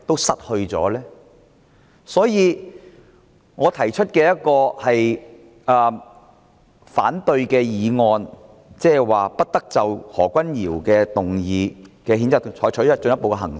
所以，我提出這項議案，建議不得就何君堯議員的譴責議案採取進一步行動。